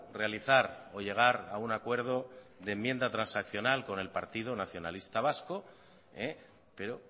realizar o llegar a un acuerdo de enmienda transaccional con el partido nacionalista vasco pero